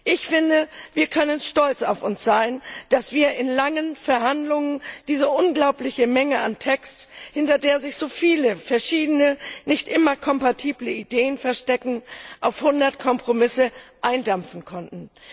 Ich finde, wir können stolz auf uns sein, dass wir in langen Verhandlungen diese unglaubliche Menge an Text, hinter der sich so viele verschiedene, nicht immer kompatible Ideen verstecken, auf 100 Kompromisse eindampfen konnten.